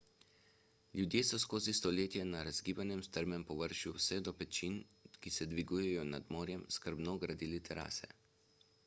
ljudje so skozi stoletja na razgibanem strmem površju vse do pečin ki se dvigujejo nad morjem skrbno gradili terase